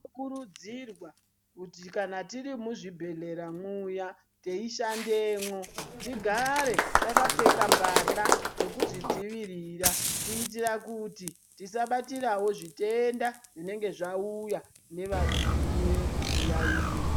Kurudzirwa kuti kana tiri muzvibhedhkera muyaTeishandemwo tigare takapfeka mbahla dzekuzvidzivirira kuitira kuti Tisabatirawo zvitenda zvinenge Zvauta nevaune zviyaiyo.